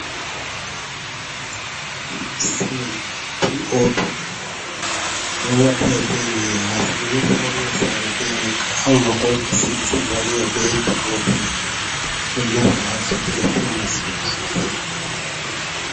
Silin p op ɗowajara be man ha sare nafanira sara bwai amanga ko juki siling sabo wara b pop wai don nafa ha soduga fewana sodu sosai.